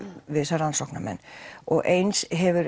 við þessa rannsóknarmenn og eins hefur